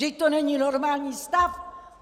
Vždyť to není normální stav!